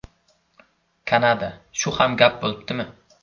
Kanada: Shu ham gap bo‘libdimi.